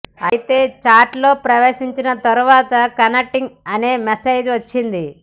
అయితే చాట్లో ప్రవేశించిన తర్వాత కనెక్టింగ్ అనే మెసేజ్ వచ్చింది